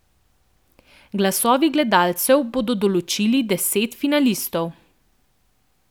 Glasovi gledalcev bodo določili deset finalistov.